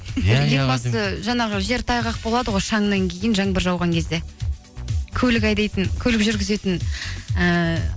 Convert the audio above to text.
жаңағы жер тайғақ болады ғой шаңнан кейін жаңбыр жауған кезде көлік айдайтын көлік жүргізетін ііі